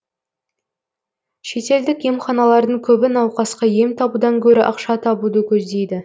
шетелдік емханалардың көбі науқасқа ем табудан гөрі ақша табуды көздейді